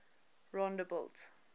rondebult